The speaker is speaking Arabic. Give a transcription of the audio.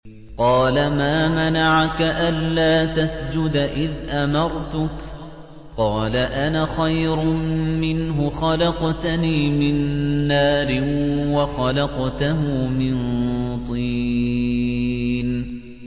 قَالَ مَا مَنَعَكَ أَلَّا تَسْجُدَ إِذْ أَمَرْتُكَ ۖ قَالَ أَنَا خَيْرٌ مِّنْهُ خَلَقْتَنِي مِن نَّارٍ وَخَلَقْتَهُ مِن طِينٍ